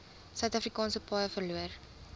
suidafrikaanse paaie verloor